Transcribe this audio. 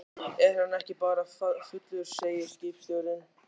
Er hann ekki bara fullur, segir skipstjórinn.